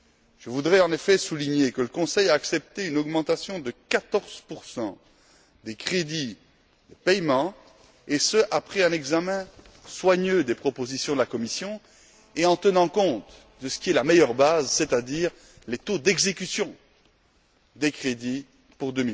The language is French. Je voudrais en effet souligner que le Conseil a accepté une augmentation de 14 des crédits de paiement, et ce après un examen soigneux des propositions de la Commission et en tenant compte de ce qui est la meilleure base, c'est à dire les taux d'exécution des crédits pour